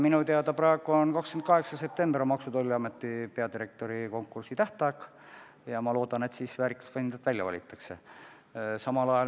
Minu teada on 28. september Maksu- ja Tolliameti peadirektori konkursi tähtaeg ja ma loodan, et pärast seda valitakse välja väärikas kandidaat.